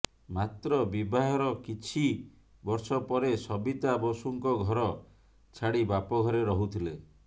ମାତ୍ର ବିବାହର କିଛି ବର୍ଷ ପରେ ସବିତା ବିସୁଙ୍କ ଘର ଛାଡି ବାପ ଘରେ ରହୁଥିଲେ